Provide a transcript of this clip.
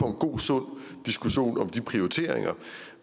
god sund diskussion om de prioriteringer